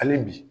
Hali bi